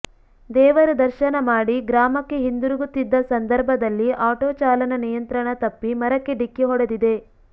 ದೇವರ ದರ್ಶನ ಮಾಡಿ ಗ್ರಾಮಕ್ಕೆ ಹಿಂದಿರುಗುತ್ತಿದ್ದ ಸಂದರ್ಭದಲ್ಲಿ ಆಟೋ ಚಾಲನ ನಿಯಂತ್ರಣ ತಪ್ಪಿ ಮರಕ್ಕೆ ಡಿಕ್ಕಿ ಹೊಡೆದಿದೆ